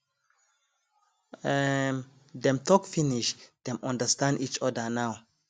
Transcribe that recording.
um dem talk finish dem understand each other now